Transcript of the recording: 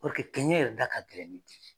kɛɲɛ yɛrɛ da ka gɛlɛn ni di ye